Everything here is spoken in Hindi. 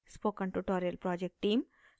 spoken tutorial project team: